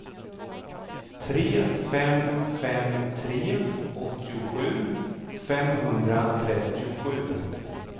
tre fem fem tre åttiosju femhundratrettiosju